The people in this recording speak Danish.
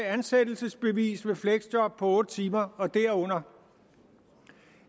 ansættelsesbevis med fleksjob på otte timer og derunder